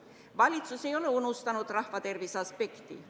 Valitsus ei ole unustanud rahva tervise aspekti.